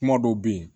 Kuma dɔw bɛ yen